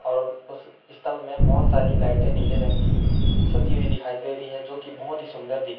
और उस स्तंभ में बहोत सारी लाइटे नीले रंग की सजी हुई दिखाई दे रही है जो बहोत ही सुंदर दिख --